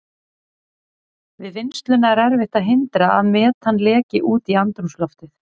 Við vinnsluna er erfitt að hindra að metan leki út í andrúmsloftið.